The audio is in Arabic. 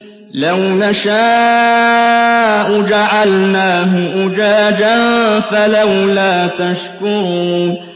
لَوْ نَشَاءُ جَعَلْنَاهُ أُجَاجًا فَلَوْلَا تَشْكُرُونَ